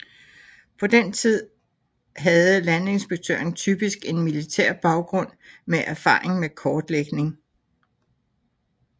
På den tid havde landinspektøren typisk en militær baggrund med erfaring med kortlægning